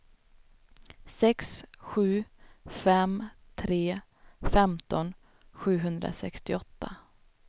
sex sju fem tre femton sjuhundrasextioåtta